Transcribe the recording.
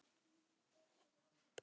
Þetta áleitna sambland af hlýju og ilmi.